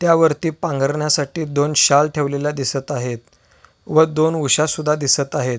त्यावरती पाघरण्यासाठी दोन शाल ठेवलेल्या दिसत आहेत व दोन उश्या सुद्धा दिसत आहेत.